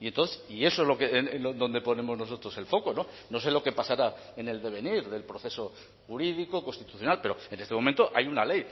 y entonces y eso es donde ponemos nosotros el foco no sé lo que pasará en el devenir del proceso jurídico constitucional pero en este momento hay una ley